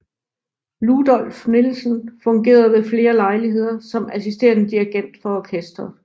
Ludolf Nielsen fungerede ved flere lejligheder som assisterende dirigent for orkestret